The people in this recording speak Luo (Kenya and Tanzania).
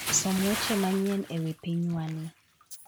Som weche manyien e wi pinywani